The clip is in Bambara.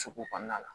Sugu kɔnɔna la